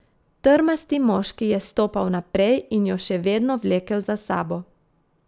Trmasti moški je stopal naprej in jo še vedno vlekel za sabo.